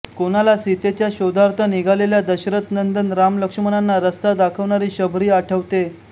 कोणाला सीतेच्या शोधार्थ निघालेल्या दशरथ नंदन राम लक्ष्मणांना रस्ता दाखवणारी शबरी आठवते